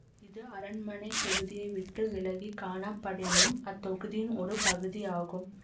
இது அரண்மனைத் தொகுதியை விட்டு விலக்கி காணப்படினும் அத்தொகுதியின் ஒரு பகுதியாகும்